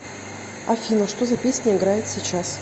афина что за песня играет сейчас